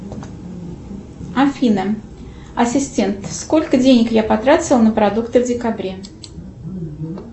афина ассистент сколько денег я потратила на продукты в декабре